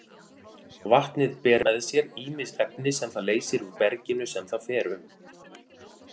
Vatnið ber með sér ýmis efni sem það leysir úr berginu sem það fer um.